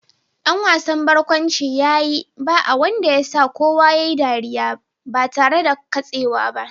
Dan wasan barkwanci ya yi ba'a wanda ya sa kowa ya yi ɗariya ba tare da katsewa ba